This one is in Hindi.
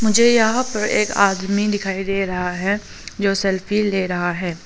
मुझे यहां पर एक आदमी दिखाई दे रहा है जो सेल्फी ले रहा है।